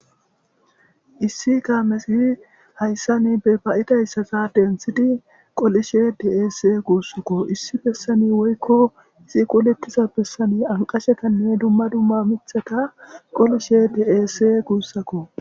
issi kaamezi hayssa ni be bayidayssasa denthidi qolishe des guussakko issi bessani woykko izi qolettiza bessani anqashekanne dumma dumma mitheka qolishe deese guussakko